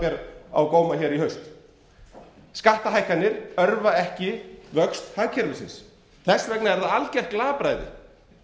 ber á góma hér í haust skattahækkanir örva ekki vöxt hagkerfisins þess vegna er algjört glapræði af ríkisstjórninni